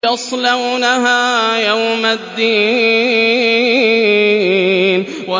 يَصْلَوْنَهَا يَوْمَ الدِّينِ